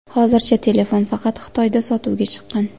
Hozircha telefon faqat Xitoyda sotuvga chiqqan.